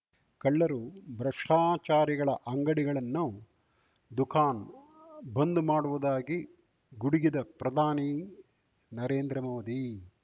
ಕಳ್ಳರು ಭ್ರಷ್ಟಾಚಾರಿಗಳ ಅಂಗಡಿಗಳನ್ನು ದುಖಾನ್ ಬಂದ್ ಮಾಡುವುದಾಗಿ ಗುಡುಗಿದ ಪ್ರಧಾನಿ ನರೇಂದ್ರ ಮೋದಿ